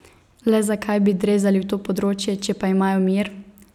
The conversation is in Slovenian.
Le zakaj bi drezali v to področje, če pa imajo mir?